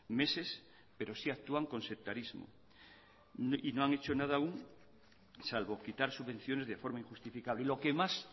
meses pero sí actúan con sectarismo y no han hecho nada aún salvo quitar subvenciones de forma injustificada y lo que más